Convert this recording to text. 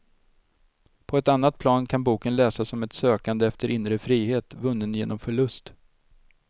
På ett annat plan kan boken läsas som ett sökande efter inre frihet, vunnen genom förlust.